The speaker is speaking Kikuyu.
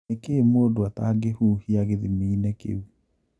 Nĩkĩĩ mũndũ atangĩhuhia gĩthimini kĩu?